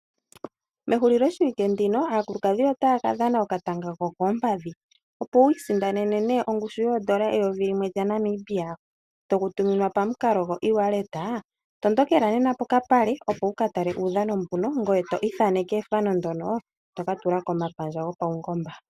Mehulilo shiwike ndino aakulukadhi otaya kadhana okatanga kokoompadhi, opo wiisindanena ongushu yoshimaliwa shoondola eyovi limwe lyaNamibia toli tuminwa pamukalo gwoewallet. Tondokela nena pokapale ngoye to ithaneke ethano ndyono tokatula komalungula.